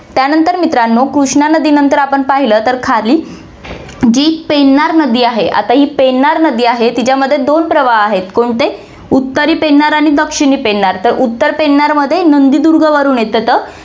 त्यानंतर मित्रांनो, कृष्णा नदीनंतर आपण पहिलं तर खाली जी पेन्नार नदी आहे, आता ही पेन्नार नदी आहे तिच्या मध्ये दोन प्रवाह आहेत, कोणते, उत्तरी पेन्नार आणि दक्षिणी पेन्नार तर उत्तर पेन्नारमध्ये नंदीदुर्गवरनं येत होते.